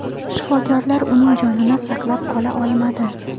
Shifokorlar uning jonini saqlab qola olmadi.